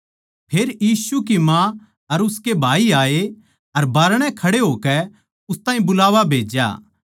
फेर यीशु की माँ अर उसके भाई आए अर बाहरणै खड़े होकै उस ताहीं बुलावा भेज्या